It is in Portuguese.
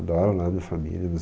Adoro lá a minha família meus